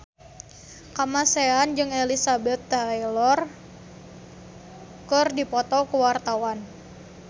Kamasean jeung Elizabeth Taylor keur dipoto ku wartawan